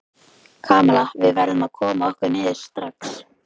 Kamilla, við verðum að koma okkur niður strax.